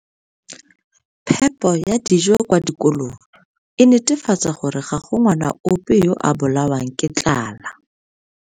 Phepo ya dijo kwa dikolong e netefatsa gore ga go ngwana ope yo a bolawang ke tlala.